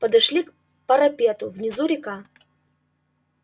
подошли к парапету внизу река